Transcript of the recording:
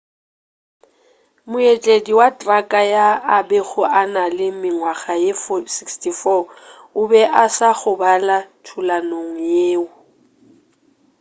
mootledi wa traka yo a bego a na le mengwaga ye 64 o be a sa gobala thulanong yeo